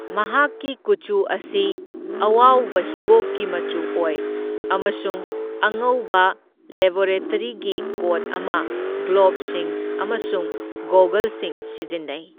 ꯃꯍꯥꯛꯀꯤ ꯀꯨꯆꯨ ꯑꯁꯤ ꯑꯋꯥꯎꯕ ꯍꯤꯒꯣꯛꯀꯤ ꯃꯆꯨ ꯑꯣꯏ ꯑꯃꯁꯨꯡ ꯑꯉꯧꯕ ꯂꯦꯕꯣꯔꯦꯇꯔꯤꯒꯤ ꯀꯣꯠ ꯑꯃ, ꯒ꯭ꯂꯣꯕꯁꯤꯡ ꯑꯃꯁꯨꯡ ꯒꯣꯒꯜꯁꯤꯡ ꯁꯤꯖꯤꯟꯅꯩ꯫